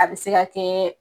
A be se ka kɛ